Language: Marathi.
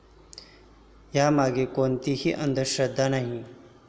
यामागे कोणतीही अंधश्रद्धा नाही.